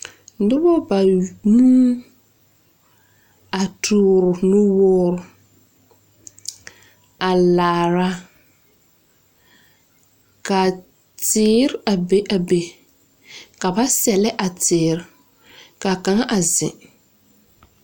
Noba banuu, a toore nuwoore, a laara, ka teere a be a be, ka ba sɛlɛ a teere, ka kaŋa a zeŋ.